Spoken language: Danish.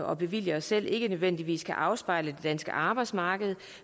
og bevilger os selv ikke nødvendigvis kan afspejle det danske arbejdsmarked